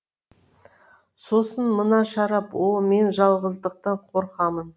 сосын мына шарап о о мен жалғыздықтан қорқамын